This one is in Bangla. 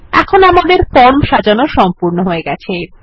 এখন আমাদের ফর্ম সাজানো সম্পূর্ণ হয়ে গেছে